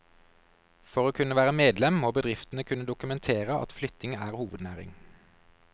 For å kunne være medlem, må bedriftene kunne dokumentere at flytting er hovednæring.